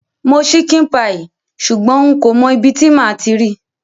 Mo ṣikin paii sugbon nko mo ibi ti màa ti ri